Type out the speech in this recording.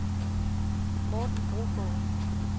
Morten Brogaard